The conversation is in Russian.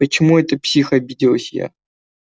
почему это псих обиделась я